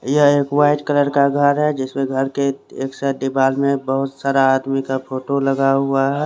यह एक white colour का घर है जिसमे घर के एक्स्ट्रा दीवार में बहुत सारा आदमी का फोटो लगा हुआ है।